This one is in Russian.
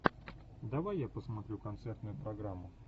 давай я посмотрю концертную программу